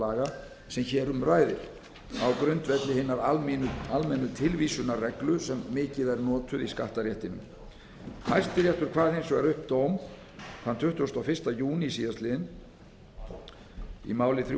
laga sem hér um ræðir á grundvelli hinna almennu tilvísunarreglu sem mikið er notuð í skattaréttinum hæstiréttur kvað hins vegar upp dóm þann tuttugasta og fyrsta júní síðastliðinn í máli þrjú